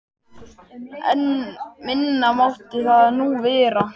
En minna mátti það nú vera.